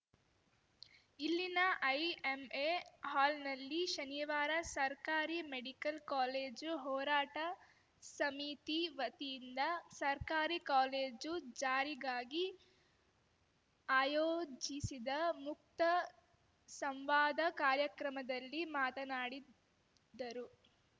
ಇಲ್ಲಿನ ಐಎಂಎ ಹಾಲ್‌ನಲ್ಲಿ ಶನಿವಾರ ಸರ್ಕಾರಿ ಮೆಡಿಕಲ್‌ ಕಾಲೇಜು ಹೋರಾಟ ಸಮಿತಿ ವತಿಯಿಂದ ಸರ್ಕಾರಿ ಕಾಲೇಜು ಜಾರಿಗಾಗಿ ಆಯೋಜಿಸಿದ್ದ ಮುಕ್ತ ಸಂವಾದ ಕಾರ್ಯಕ್ರಮದಲ್ಲಿ ಮಾತನಾಡಿದರು